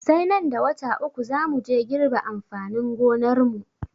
Sai nan da wata uku za muje girbe amfanin gonarmu.